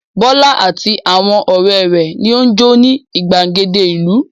Bọ́lá àti àwọn ọ̀rẹ́ rẹ̀ ni ó ń jó ní ìgbàgede ìlú.